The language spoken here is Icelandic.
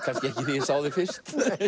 ég sá þig fyrst